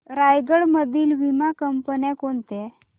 रायगड मधील वीमा कंपन्या कोणत्या